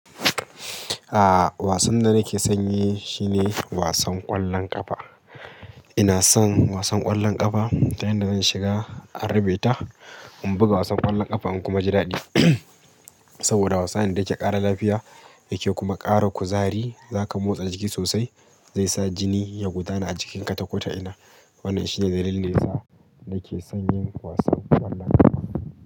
Aaa wasan da nake son yi shine wasan ƙwallon ƙafa. Ina son wasan ƙwallon ƙafa ta yanda zan shiga a rabe ta, in buga wasan ƙwallon ƙafa in kuma ji daɗi. Saboda wasa ne da yake ƙara lafiya yake kuma ƙara kuzari. Zaka motsa jiki sosai zai sa jini ya gudana a jikinka ta kota'ina. Wannan shine dalilin da yasa nake son yin wasan ƙwallon ƙafa.